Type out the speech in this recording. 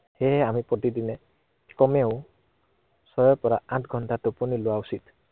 সেয়ে আমি প্ৰতিদিনে কমেও, ছয়ৰ পৰা আঠ ঘন্টা টোপনি লোৱা উচিত।